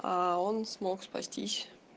а он смог спастись